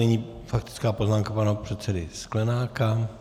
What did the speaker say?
Nyní faktická poznámka pana předsedy Sklenáka.